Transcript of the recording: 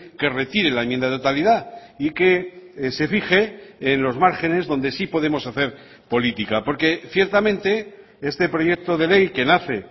que retire la enmienda de totalidad y que se fije en los márgenes donde sí podemos hacer política porque ciertamente este proyecto de ley que nace